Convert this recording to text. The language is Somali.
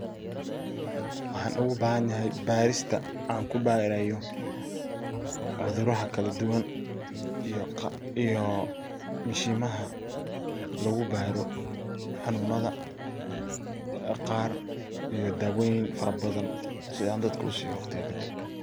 Waxan ogu bahan yaxay barista an kubarayo, cuduraxa kaladuwan iyo mishimaha lagubaro hanunada qaar iyo dawoyin farabadn si an dadka usiyo marka kadib.